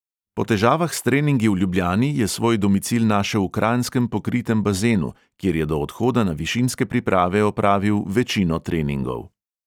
Po težavah s treningi v ljubljani je svoj domicil našel v kranjskem pokritem bazenu, kjer je do odhoda na višinske priprave opravil večino treningov.